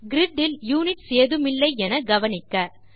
grid இல் units ஏதுமில்லை என கவனிக்க